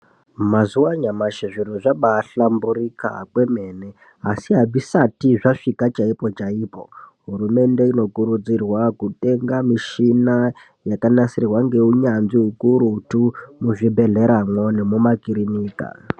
Mazuwa anyamashi zviri zvaba hlamburika kwemene asi azvisati zvasvika chaipo chaipo. Hurumende inokurudzirwa kutenga mushina yakanasirwa ngenyanzvi kurutu muzvibhehleramo nemuma kirinika.